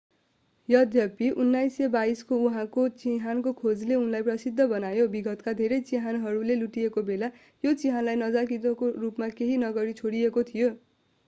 यद्यपि 1922 को उनको चिहानको खोजले उनलाई प्रसिद्ध बनायो विगतका धेरै चिहानहरू लुटिएका बेला यो चिहानलाई नजानिदो रूपमा केही नगरी छोडिएको थियो